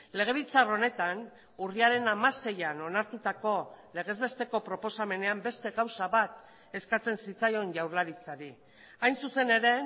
legebiltzar honetan urriaren hamaseian onartutako legez besteko proposamenean beste gauza bat eskatzen zitzaion jaurlaritzari hain zuzen ere